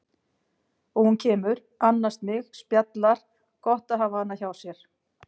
Og hún kemur, annast mig, spjallar, gott að hafa hana hjá sér.